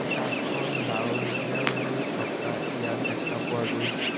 আকাশখন ডাওৰীয়া হৈ থকা ইয়াত দেখা পোৱা গৈছে।